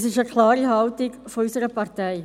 Das ist eine klare Haltung unserer Partei.